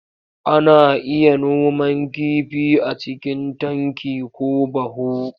Ana iya noman kifi a cikin tanki ko baho.